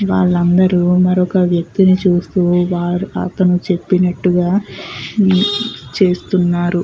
వాళ్ళందరూ మరొక వ్యక్తిని చూస్తూ వారు అతను చెప్పినట్టుగా చేస్తున్నారు.